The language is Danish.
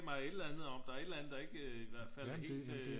Mig et eller andet om der er et eller andet der ikke i hvert fald er helt øh